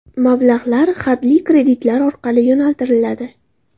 Mablag‘lar hadli kreditlar orqali yo‘naltiriladi.